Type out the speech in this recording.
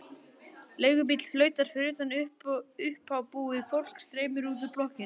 Leigubíll flautar fyrir utan, uppábúið fólk streymir út úr blokkinni.